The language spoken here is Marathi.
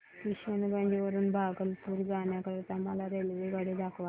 किशनगंज वरून भागलपुर जाण्या करीता मला रेल्वेगाडी दाखवा